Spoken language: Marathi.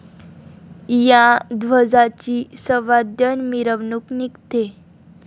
या ध्वजाची सवाद्य मिरवणूक निघते.